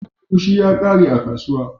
Agushi ya kare a kasuwa.